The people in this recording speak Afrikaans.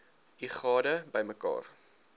u gade bymekaar